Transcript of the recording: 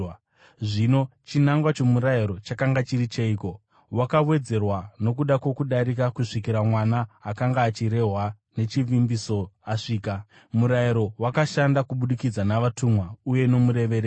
Zvino, chinangwa chomurayiro chakanga chiri cheiko? Wakawedzerwa nokuda kwokudarika kusvikira Mwana akanga achirehwa nechivimbiso asvika. Murayiro wakashanda kubudikidza navatumwa uye nomurevereri.